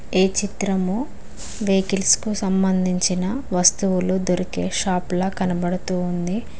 ఈ చిత్రము బెకరీస్ కు సంబంధించిన వస్తువులు దొరికే షాపుల కనబడుతోంది.